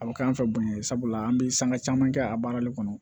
A bɛ kɛ an fɛ bun ye sabula an bɛ sanga caman kɛ a baarali kɔnɔ